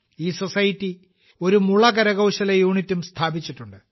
ഈ സൊസൈറ്റി ഒരു മുള കരകൌശല യൂണിറ്റും സ്ഥാപിച്ചിട്ടുണ്ട്